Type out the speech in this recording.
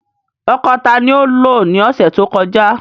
Ọ́kọ ta ni o lo ni ọsẹ to kọja?